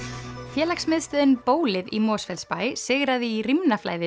félagsmiðstöðin bólið í Mosfellsbæ sigraði í